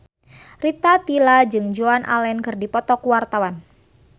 Rita Tila jeung Joan Allen keur dipoto ku wartawan